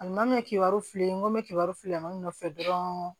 kibaruw fili n ko mɛ k'iburu filiman nɔfɛ dɔrɔn